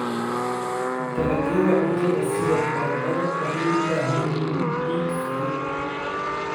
Dalagyada cuntada sida baradhada waxay u baahan yihiin ciid fudud.